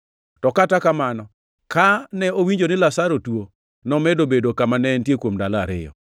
To kata kamano, kane owinjo ni Lazaro tuo, nomedo bedo kama ne entie kuom ndalo ariyo.